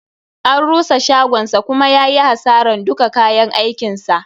An rusa shagonsa kuma yayi hasaran duka kayan askin sa.